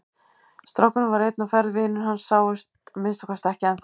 Strákurinn var einn á ferð, vinir hans sáust að minnsta kosti ekki ennþá.